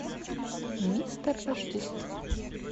мистер рождество